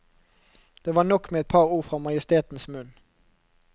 Det var nok med et par ord fra majestetens munn.